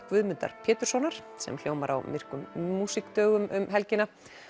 Guðmundar Péturssonar sem hljómar á myrkum músíkdögum um helgina